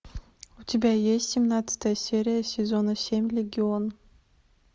у тебя есть семнадцатая серия сезона семь легион